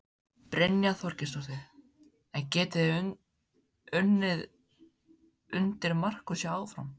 Brynja Þorgeirsdóttir: En getið þið unnið undir Markúsi áfram?